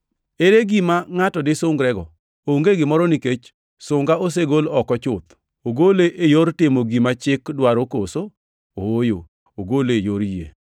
Ere gima ngʼato disungrene? Onge gimoro nikech sunga osegol oko chuth. Ogole e yor timo gima chik dwaro koso? Ooyo, ogole e yor yie.